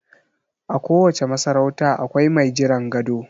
A kowace masarauta akwai mai jiran gado